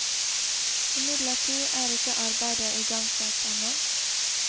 Imidlertid er ikke arbeidet igangsatt ennå.